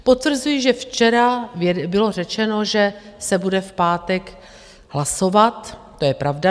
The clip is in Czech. Potvrzuji, že včera bylo řečeno, že se bude v pátek hlasovat, to je pravda.